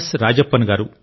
రాజప్పన్ గారు